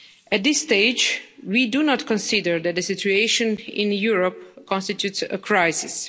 At this stage, we do not consider that the situation in Europe constitutes a crisis.